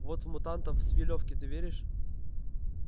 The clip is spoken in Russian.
вот в мутантов с филёвки ты веришь